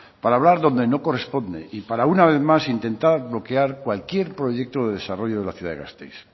para hablar donde no corresponde y para una vez más intentar bloquear cualquier proyecto de desarrollo de la ciudad de gasteiz